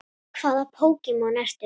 Hvaða Pokémon ertu?